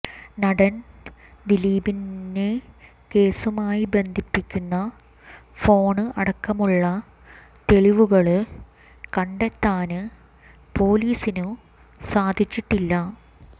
നടന് ദിലീപിനെ കേസുമായി ബന്ധപ്പിക്കുന്ന ഫോണ് അടക്കമുള്ള തെളിവുകള് കണ്ടെത്താന് പോലീസിനു സാധിച്ചിട്ടില്ല